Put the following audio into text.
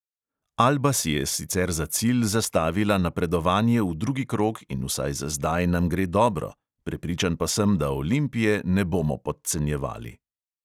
Alba si je sicer za cilj zastavila napredovanje v drugi krog in vsaj za zdaj nam gre dobro, prepričan pa sem, da olimpije ne bomo podcenjevali.